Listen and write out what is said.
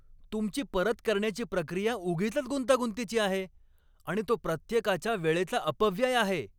तुमची परत करण्याची प्रक्रिया उगीचच गुंतागुंतीची आहे आणि तो प्रत्येकाच्या वेळेचा अपव्यय आहे.